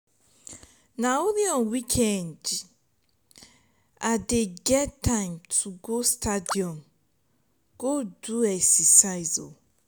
na only n weekend i dey get time to go stadium go do exercise.